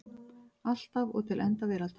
Alltaf og til enda veraldar.